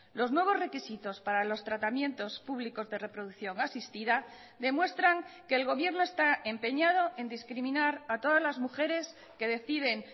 los nuevos requisitos para los tratamientos públicos de reproducción asistida demuestran que el gobierno está empeñado en discriminar a todas las mujeres que deciden